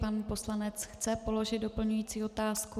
Pan poslanec chce položit doplňující otázku.